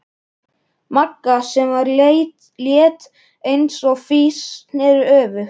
Magga, sem var létt eins og fis, sneri öfugt.